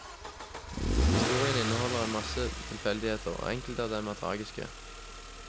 Historien inneholder en masse tilfeldigheter, og enkelte av dem er tragiske.